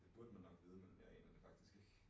Det burde man nok vide men jeg aner det faktisk ikke